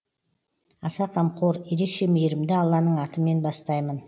аса қамқор ерекше мейірімді алланың атымен бастаймын